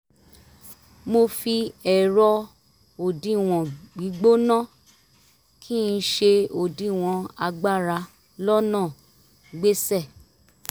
mo fi ẹ̀rọ òdiwọ̀n gbígbóná kí n ṣe òdiwọ̀n agbára lọ́nà gbéṣẹ́